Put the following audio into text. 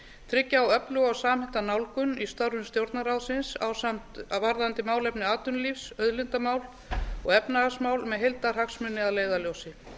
tryggja á öfluga og samhenta nálgun í störfum stjórnarráðsins varðandi málefni atvinnulífs auðlindamál og efnahagsmál með heildarhagsmuni að leiðarljósi